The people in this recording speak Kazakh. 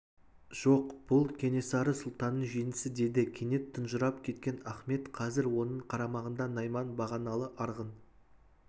жоқ бұл кенесары сұлтанның жеңісі деді кенет тұнжырап кеткен ахмет қазір оның қарамағында найман бағаналы арғын